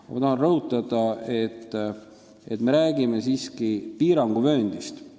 Aga ma tahan rõhutada, et me räägime siiski piiranguvööndist.